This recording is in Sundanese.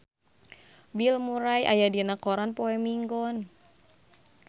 Bill Murray aya dina koran poe Minggon